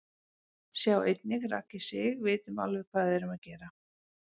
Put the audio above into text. Sjá einnig: Raggi Sig: Vitum alveg hvað við erum að gera